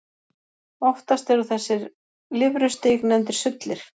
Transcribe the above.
Oftast eru þessi lirfustig nefndir sullir.